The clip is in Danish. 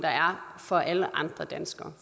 for alle andre danskere